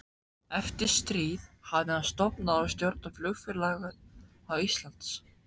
Eftir stríð hafði hann stofnað og stjórnað Flugfélagi Íslands